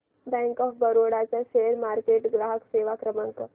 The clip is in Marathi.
बँक ऑफ बरोडा चा शेअर मार्केट ग्राहक सेवा क्रमांक